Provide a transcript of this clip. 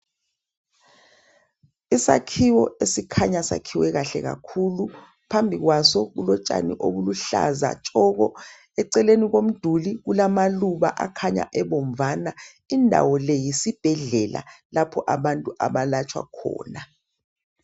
Isakhiwo esikhanya sakhiwe kahle kakhulu phambi kwaso kulotshani obuluhlaza tshoko eceleni komduli kulamaluba akhanya ebomvana indawo le yisibhedlela lapha abantu abalatshwa khona.